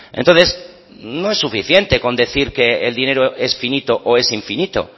entonces no es suficiente con decir que el dinero es finito o es infinito